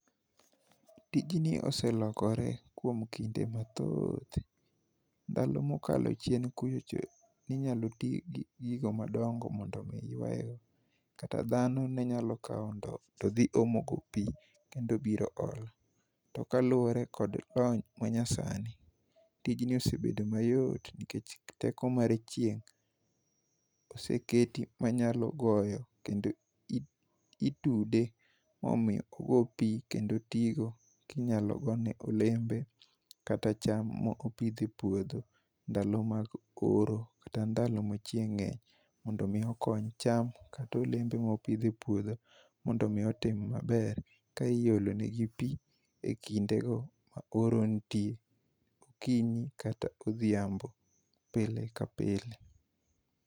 Tijni oselokore kuom kinde mathoth. Ndalo mokalo chien kucho ne inyalo tii gi gigo madongo mondo mi kata dhano ne nyalo kawo ndoo todhi omo go pii kendobilo olo. To kaluwore kod lony manya sani, tijni osebedo mayot nilkech teko mar chieng' oseketi manyalo goyo kendo i itude mondo ogo pii kendo otigo kinyalo gone olembe kata cham mo opidhe puodho ndalo mag oro kata ndalo ma chieng' ngeny, mondo mi okony cham kata olembe mopidh e puodho mondo mi otim maber ka iolone gi pii e kindego ma oro nitie, kiny kata odhiambo pile ka pile.